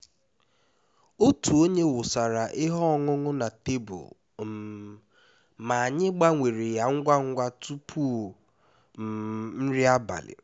otu onye wụsara ihe ọṅụṅụ na tebụl um ma anyị gbanwere ya ngwa ngwa tupu um nri abalị